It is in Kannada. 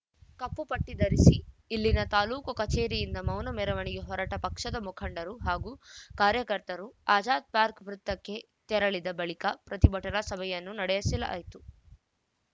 ಕಪ್ಪುಪಟ್ಟಿಧರಿಸಿ ಇಲ್ಲಿನ ತಾಲೂಕು ಕಚೇರಿಯಿಂದ ಮೌನ ಮೆರವಣಿಗೆ ಹೊರಟ ಪಕ್ಷದ ಮುಖಂಡರು ಹಾಗೂ ಕಾರ್ಯಕರ್ತರು ಆಜಾದ್‌ ಪಾರ್ಕ ವೃತ್ತಕ್ಕೆ ತೆರಳಿದ ಬಳಿಕ ಪ್ರತಿಭಟನಾ ಸಭೆಯನ್ನು ನಡೆಸಲಾಯಿತು